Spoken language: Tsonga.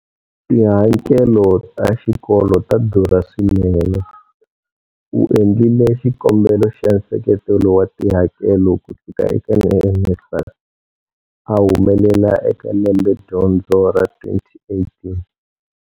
Tihakelo ta xikolo ta durha swinene. U endlile xikombelo xa nseketelo wa tihakelo kusuka eka NSFAS a humelela eka lembedyondzo ra 2018.